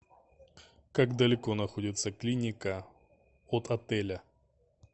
как далеко находится клиника от отеля